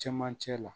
Cɛmancɛ la